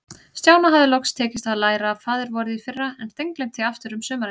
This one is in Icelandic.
Stjána hafði loks tekist að læra Faðir-vorið í fyrra, en steingleymt því aftur um sumarið.